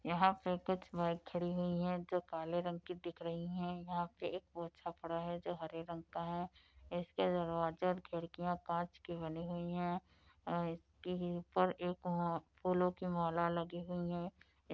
यहाँ पे कुछ बाइक खड़ी हुई हैं जो काले रंग की दिख रही हैं। यहाँ पे एक पोछा पड़ा है जो हरे रंग का है इसके दरवाजे और खिड़कियाँ काँच की बनी हुई हैं और इसके ही ऊपर एक फूलों की माला लगी हुई हैं।